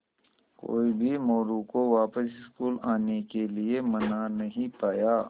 कोई भी मोरू को वापस स्कूल आने के लिये मना नहीं पाया